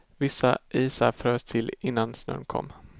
Vissa isar frös till innan snön kom.